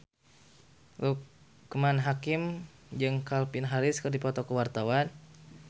Loekman Hakim jeung Calvin Harris keur dipoto ku wartawan